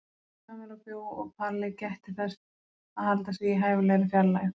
Kamilla bjó og Palli gætti þess að halda sig í hæfilegri fjarlægð.